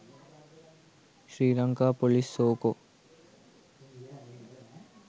sri lanka police soco